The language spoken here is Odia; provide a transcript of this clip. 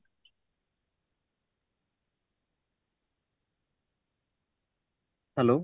hello